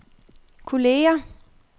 kolleger